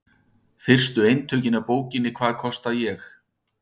Fyrstu eintökin af bókinni Hvað kosta ég?